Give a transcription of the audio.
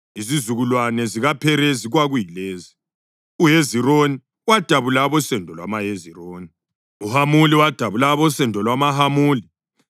Izizukulwane zikaPherezi kwakuyilezi: uHezironi wadabula abosendo lwamaHezironi; uHamuli wadabula abosendo lwamaHamuli.